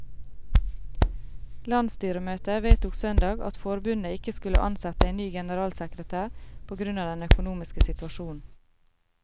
Landsstyremøtet vedtok søndag at forbundet ikke skulle ansette en ny generalsekretær på grunn av den økonomiske situasjonen.